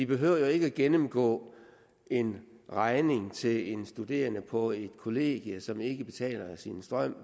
behøver jo ikke at gennemgå en regning til en studerende på et kollegium som ikke betaler sin strøm